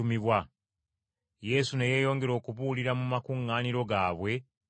Yesu ne yeeyongera okubuulira mu makuŋŋaaniro gaabwe mu Buyudaaya.